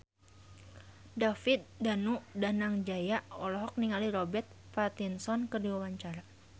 David Danu Danangjaya olohok ningali Robert Pattinson keur diwawancara